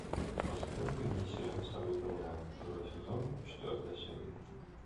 посоветуй мне сериал сорвиголова второй сезон четвертая серия